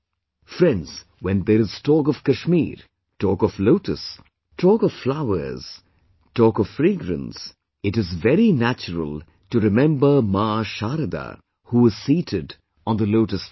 Friends, when there is talk of Kashmir, talk of lotus, talk of flowers, talk of fragrance, then it is very natural to remember Maa Sharda who is seated on the lotus flower